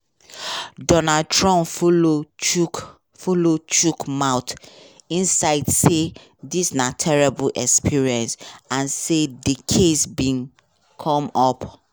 donald trump sef follow chook follow chook mouth inside say "dis na terrible experience" and say di case bin come up